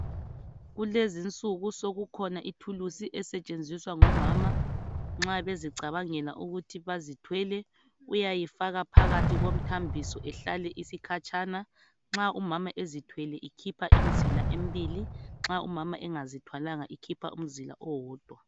Kulezi insuku sokukhona ithuluzi esetshenziswa ngomama nxa bezicabangela ukuthi bazithwele uyayifaka phakathi komthambiso ihlale isikhatshana nxa umama ezithwele ikhipha imizila embili nxa umama engazithwalanga ikhipha umzila owodwa.